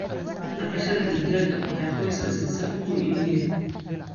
Dhaqashada digaaga waxay qoyska siisaa ukun iyo hilib.